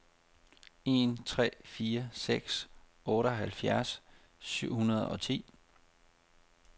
en tre fire seks otteoghalvfjerds syv hundrede og ti